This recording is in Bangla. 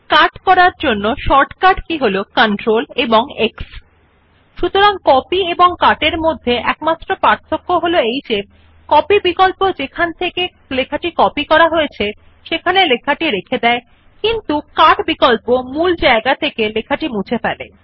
কাট এর শর্টকাট কি হল CTRLX সতরাং কপি এবং কাট এর মধ্যে একমাত্র পার্থক্য হল কপি বিকল্প যেখান থেকে লেখাটি কপি করা হয়েছে সেখানে লেখাটি রেখে দেয় কিন্তু কাট বিকল্প মূল জায়গা থেকে লেখাটি মুছে ফেলে